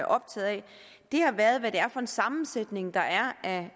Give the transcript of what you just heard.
optaget af har været hvad det er for en sammensætning der er af